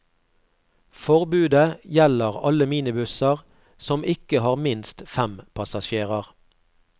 Forbudet gjelder alle minibusser som ikke har minst fem passasjerer.